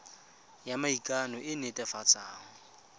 ya maikano e e netefatsang